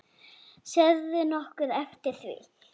Sérðu nokkuð eftir því?